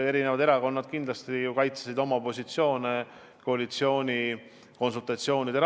Eri erakonnad kaitsesid koalitsioonikonsultatsioonide ajal oma positsioone.